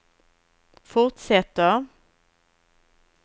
fortsätter